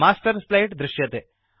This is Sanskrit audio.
मास्टर् स्लाइड् दृश्यते